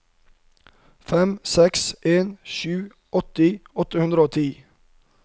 fem seks en sju åtti åtte hundre og ti